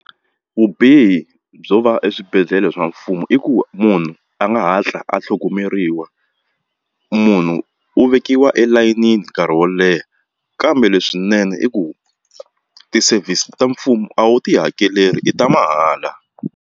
Vubihi byo va eswibedhlele swa mfumo i ku munhu a nga hatli a tlhogomeriwa munhu u vekiwa elayinini nkarhi wo leha kambe leswinene i ku ti-service ta mfumo a wu ti hakeleli i ta mahala.